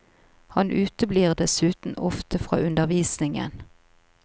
Han uteblir dessuten ofte fra undervisningen.